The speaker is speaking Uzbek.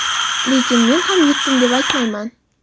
lekin men ham yutdim deb aytmayman.